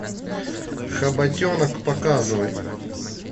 хоботенок показывай